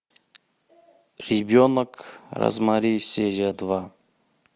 ребенок розмари серия два